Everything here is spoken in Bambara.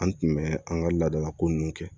An tun bɛ an ka ladalako ninnu kɛ